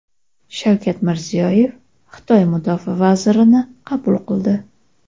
Shavkat Mirziyoyev Xitoy mudofaa vazirini qabul qildi.